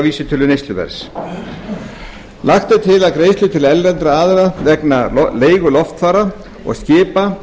vísitölu neysluverðs lagt er til að greiðslur til erlendra aðila vegna leigu loftfara og skipa